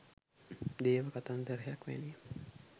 දේව කතන්දරයක් වැනිය